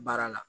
Baara la